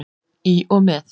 Í og með.